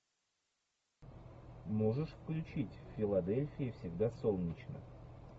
можешь включить в филадельфии всегда солнечно